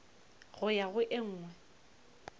go ya go e nngwe